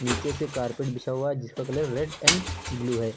नीचे से कारपेट बिछा हुआ जिसका कलर रेड एंड ब्लू है।